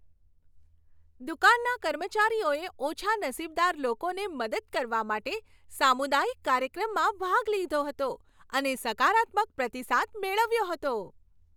દુકાનના કર્મચારીઓએ ઓછા નસીબદાર લોકોને મદદ કરવા માટે સામુદાયિક કાર્યક્રમમાં ભાગ લીધો હતો અને સકારાત્મક પ્રતિસાદ મેળવ્યો હતો.